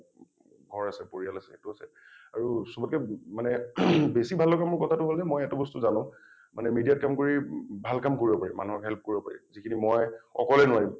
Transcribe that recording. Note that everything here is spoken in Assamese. ঘৰ আছে পৰিয়াল আছে সেইটো আছে আৰু চবতকে ম মানে বেছি ভাল লগা মোৰ কথাতো হল যে মই এটা বস্তু জানো মানে media ত কাম কৰি ভাল কাম কৰিব পাৰি মানুহৰ help কৰিব পাৰি যিখিনি মই অকলে নোৱাৰিম।